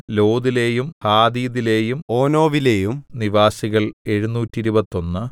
ലോദിലെയും ഹാദീദിലെയും ഓനോവിലെയും നിവാസികൾ എഴുനൂറ്റിരുപത്തൊന്ന്